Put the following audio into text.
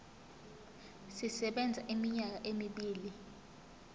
sisebenza iminyaka emibili